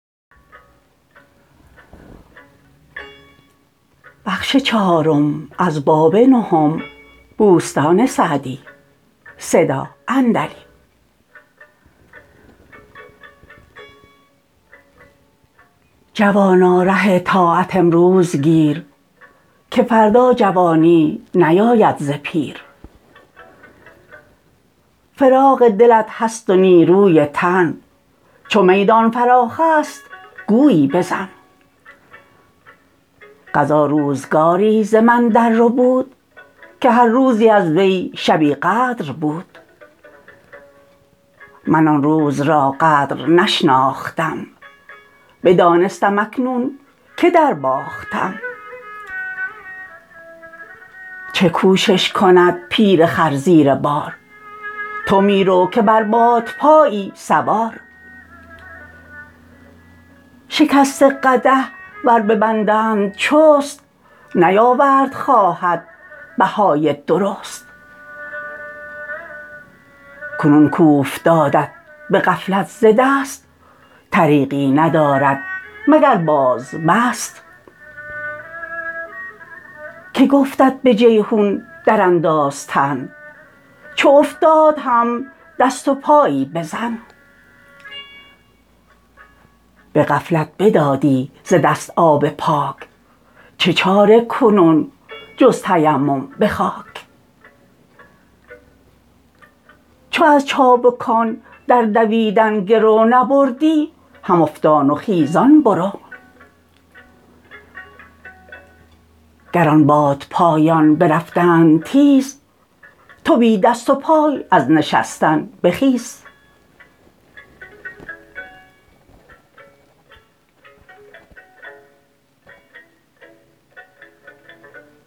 جوانا ره طاعت امروز گیر که فردا جوانی نیاید ز پیر فراغ دلت هست و نیروی تن چو میدان فراخ است گویی بزن قضا روزگاری ز من در ربود که هر روزی از وی شبی قدر بود من آن روز را قدر نشناختم بدانستم اکنون که در باختم چه کوشش کند پیر خر زیر بار تو می رو که بر بادپایی سوار شکسته قدح ور ببندند چست نیاورد خواهد بهای درست کنون کاوفتادت به غفلت ز دست طریقی ندارد مگر باز بست که گفتت به جیحون در انداز تن چو افتاد هم دست و پایی بزن به غفلت بدادی ز دست آب پاک چه چاره کنون جز تیمم به خاک چو از چابکان در دویدن گرو نبردی هم افتان و خیزان برو گر آن بادپایان برفتند تیز تو بی دست و پای از نشستن بخیز